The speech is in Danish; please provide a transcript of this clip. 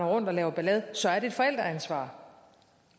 rundt og laver ballade så er det et forældreansvar